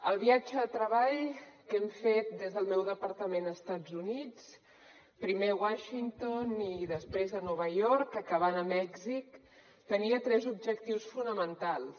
el viatge de treball que hem fet des del meu departament a estats units primer a washington i després a nova york acabant a mèxic tenia tres objectius fonamentals